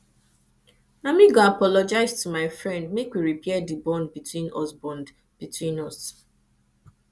na me go apologize to my friend make we repair di bond between us bond between us